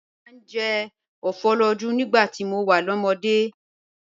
Mo máa ń jẹ ofoloju nígbà tí mo wà lọ́mọdé.